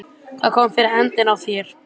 Hvað kom fyrir hendina á þér?